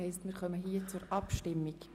Wir kommen zur Abstimmung.